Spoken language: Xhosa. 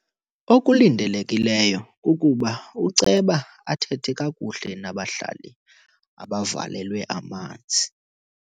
Okulindelekileyo kukuba uceba athethe kakuhle nabahlali abavalelwe amanzi.